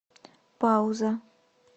пауза